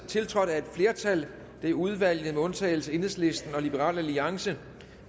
tiltrådt af et flertal det er udvalget med undtagelse af enhedslisten og liberal alliance